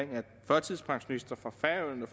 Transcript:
førtidspensionister fra færøerne